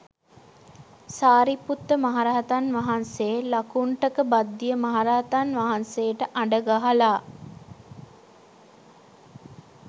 සාරිපුත්ත මහරහතන් වහන්සේ ලකුණ්ඨක භද්දිය මහරහතන් වහන්සේට අඬ ගහලා